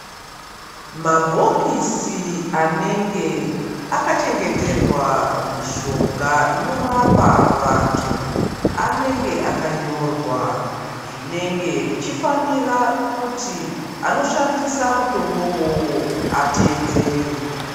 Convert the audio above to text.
Mabhokisi anenge akachengeterwa mishonga inorapa vantu, anenge akanyorwa zvinenge zvichifanira kuti anoshandisa mutombo uwowo ateedzere.